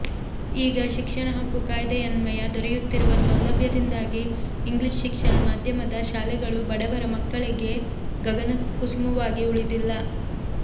ಈಗ ಶಿಕ್ಷಣ ಹಕ್ಕು ಕಾಯ್ದೆಯನ್ವಯ ದೊರೆಯುತ್ತಿರುವ ಸೌಲಭ್ಯದಿಂದಾಗಿ ಇಂಗ್ಲಿಷ್ ಶಿಕ್ಷಣ ಮಾಧ್ಯಮದ ಶಾಲೆಗಳು ಬಡವರ ಮಕ್ಕಳಿಗೆ ಗಗನ ಕುಸುಮವಾಗಿ ಉಳಿದಿಲ್ಲ